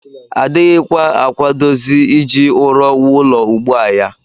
Adịghịkwa akwadozi iji ụrọ wuo ụlọ ugbu a ya